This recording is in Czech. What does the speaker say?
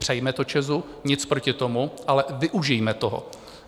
Přejme to ČEZu, nic proti tomu, ale využijme toho.